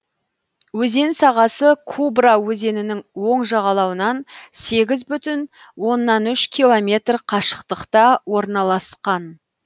өзен сағасы кубра өзенінің оң жағалауынан сегіз бүтін оннан үш километр қашықтықта орналасқан